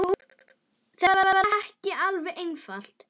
Þetta var ekki alveg einfalt